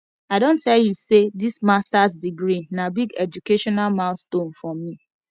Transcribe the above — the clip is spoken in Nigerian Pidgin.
i don tell you sey dis masters degree na big educational milestone for me